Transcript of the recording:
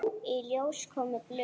Í ljós komu blöð.